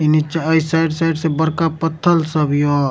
इ नीच्चा अइ साइड - साइड से बरका पत्थल सब हिओ।